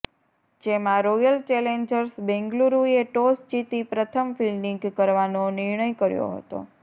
જેમાં Royal Challengers બેંગલુરૂએ toss જીતી પ્રથમ ફિલ્ડિંગ કરવાનો નિર્ણય કર્યો હતો